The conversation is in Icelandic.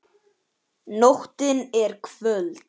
Nóttin er köld.